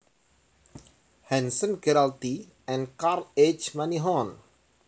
Hanson Gerald T and Carl H Moneyhon